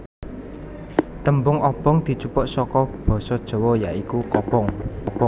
Tembung obonk dijupuk saka basa Jawa ya iku kobong